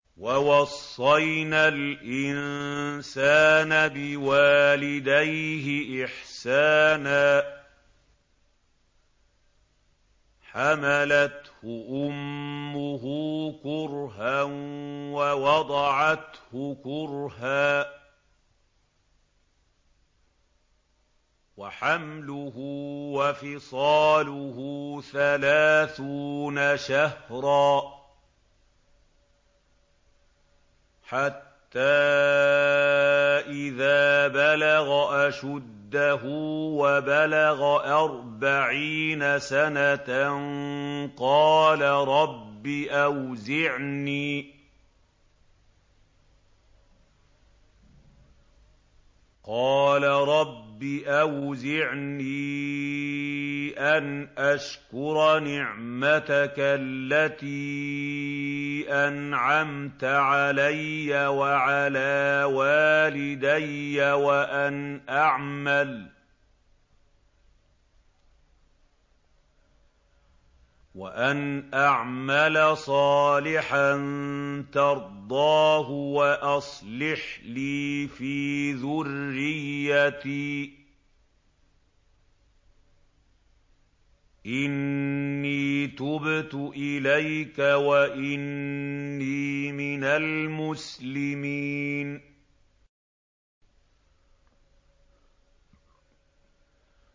وَوَصَّيْنَا الْإِنسَانَ بِوَالِدَيْهِ إِحْسَانًا ۖ حَمَلَتْهُ أُمُّهُ كُرْهًا وَوَضَعَتْهُ كُرْهًا ۖ وَحَمْلُهُ وَفِصَالُهُ ثَلَاثُونَ شَهْرًا ۚ حَتَّىٰ إِذَا بَلَغَ أَشُدَّهُ وَبَلَغَ أَرْبَعِينَ سَنَةً قَالَ رَبِّ أَوْزِعْنِي أَنْ أَشْكُرَ نِعْمَتَكَ الَّتِي أَنْعَمْتَ عَلَيَّ وَعَلَىٰ وَالِدَيَّ وَأَنْ أَعْمَلَ صَالِحًا تَرْضَاهُ وَأَصْلِحْ لِي فِي ذُرِّيَّتِي ۖ إِنِّي تُبْتُ إِلَيْكَ وَإِنِّي مِنَ الْمُسْلِمِينَ